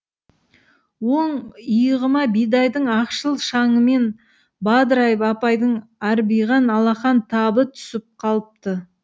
оң иығыма бидайдың ақшыл шаңымен бадырайып апайдың арбиған алақан табы түсіп қалыпты